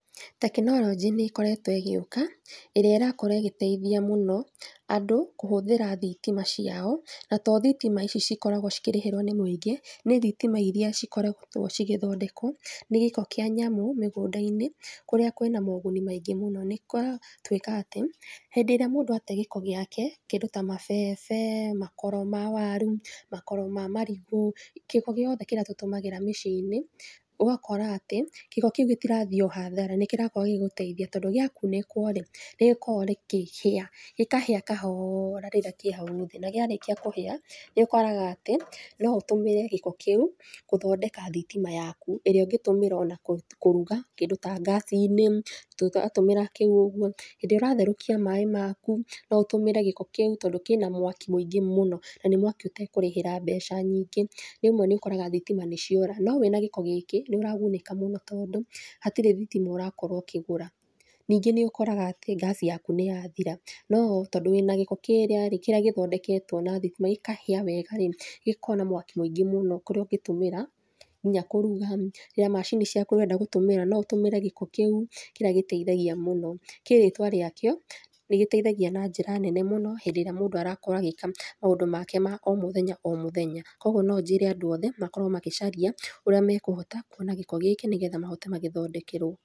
Tekinoronjĩ nĩ ĩkoretwo ĩgĩũka, ĩrĩa ĩrakorwo ĩgĩteithia mũno andũ kũhũthĩra thitima ciao, na to thitima ici cikoragwo cikĩrĩhĩrwo nĩ mũingĩ, nĩ thitima iria ikoragwo cigĩthondekwo na gĩko kĩa thamũ mũgũnda-inĩ kũrĩa kũrĩa kwĩna moguni maingĩ mũno. Nĩ kũratuĩka atĩ, hĩndĩ ĩrĩa mũndũ atee gĩko gĩake, kĩndũ ta mabebe, makoro ma waru, makoro ma marigũ, gĩko gĩothe kĩrĩa tũtũmagĩra mĩciĩ-inĩ, ũgakora atĩ gĩko kĩu gĩtirathiĩ hathara, nĩ kĩrakorũo gĩgĩgũteithia, tondũ gĩakunĩkwo-rĩ nĩ gĩkoragwo gĩkĩhĩa, gĩkahĩa kahoora rĩrĩa kĩhau thi, na kĩarĩkia kũhĩa, nĩ ũkoraga atĩ, no ũtũmĩre gĩko kĩũ gũthondeka thitima yaku ĩrĩa ũngĩtũmĩra ona kũruga kĩndũ ta ngasi-inĩ tũgatũmĩra kĩu ũguo, hĩndĩ ĩrĩa ũratherũkia maĩ maku no ũtũmĩre gĩko kĩũ tondũ kĩna mwaki mũingĩ mũno, na nĩ mwaki ũtekũrĩhĩra mbeca nyingĩ. Rĩmwe nĩ ũkoraga thitima nĩ ciora, no wĩna gĩko gĩkĩ, nĩ ũragunĩka mũno, tondũ hatirĩ thitima ũrakorwo ũkĩgũra. Nĩngĩ nĩ ũkoraga atĩ gas yaku nĩ yathira. Tondũ wĩna gĩko kĩrĩa-rĩ gĩthondeketwo na thitima gĩkahĩa wega-rĩ, gĩkoragwo na mwaki mũingĩ mũno ũrĩa ũngĩtũmĩra nginya kũruga, nginya macini ciaku iria ũrenda gũtũmĩra gĩko kĩu kĩrĩa gĩteithagia mũno. Kĩ rĩtwa riakĩo, nĩ gĩteithagia na njĩra nene mũno hĩndĩ ĩrĩa mũndũ arakorwo agĩka maũndũ make ma o-mũthenya o-mũthenya. Koguo no njĩre andũ othe makorwo magicaria ũrĩa mekũhota kũona gĩko gĩkĩ, nĩgetha mahote magĩthondekerwo.